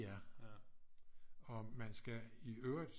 Og man skal i øvrigt